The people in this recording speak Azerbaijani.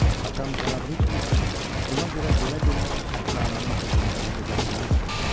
Atam cənab Riçard isə buna görə belə bir ədnamənin pozulmasına dözə bilməzdi.